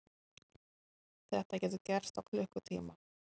Þetta getur gerst á klukkutíma.